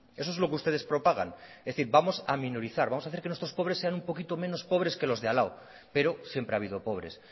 eso es lo que ustedes propagan es decir vamos a minorizar vamos a hacer que nuestros pobres sean un poco menos pobres que los de al lado pero siempre ha habido pobres